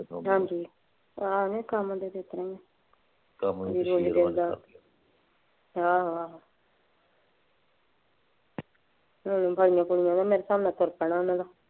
ਤੁਰ ਪੈਣਾ ਉਹਨਾਂ ਨੇ।